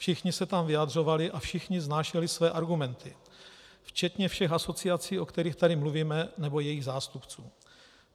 Všichni se tam vyjadřovali a všichni vznášeli své argumenty, včetně všech asociací, o kterých tady mluvíme, nebo jejich zástupců.